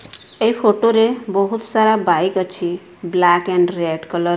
ଏହି ଫୋଟୋ ବହୁତ ସାରା ବାଇକ୍ ଅଛି ବ୍ଲାକ ଆଣ୍ଡ ରେଡ୍ କଲର ।